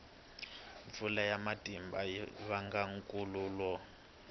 mpfula ya matimba yi vanga nkhukhulo